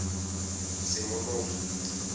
semonogi